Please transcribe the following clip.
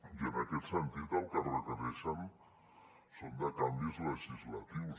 i en aquest sentit el que requereixen són canvis legislatius